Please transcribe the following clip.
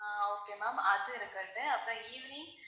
ஆஹ் okay ma'am அது இருக்கட்டும் அப்புறம் evening